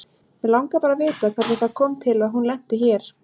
Mig langar bara að vita hvernig það kom til að hún lenti hér.